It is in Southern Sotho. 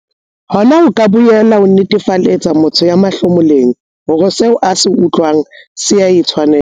Hona ho ka boela ho netefaletsa motho ya mahlomoleng hore seo a se utlwang se a tshwanela.